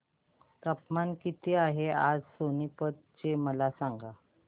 तापमान किती आहे आज सोनीपत चे मला सांगा